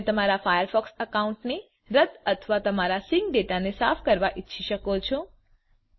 તમે તમારા ફાયરફોકસ એકાઉન્ટને રદ અથવા તમારા સિંક ડેટાને સાફ કરવા ઈચ્છી શકો છો